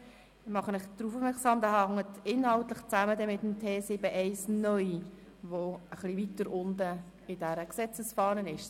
Ich mache Sie darauf aufmerksam, dass dieser inhaltlich mit dem Artikel T7-1 (neu) zusammenhängt, der etwas weiter unten in dieser Gesetzesfahne steht.